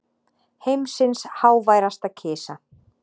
Heimsins háværasta kisa